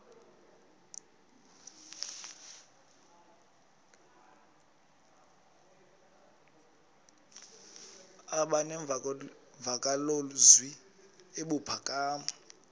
aba nemvakalozwi ebuphakama